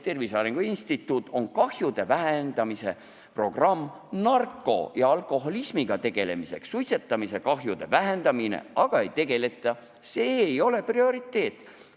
Tervise Arengu Instituudil on kahjude vähendamise programm narkomaania ja alkoholismiga tegelemiseks, suitsetamise kahjude vähendamisega aga ei tegeleta, see ei ole prioriteet.